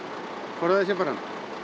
forðaði sér bara